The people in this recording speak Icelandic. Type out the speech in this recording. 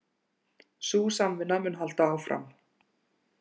Sú samvinna mun halda áfram